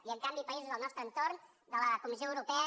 i en canvi països del nostre entorn de la comissió europea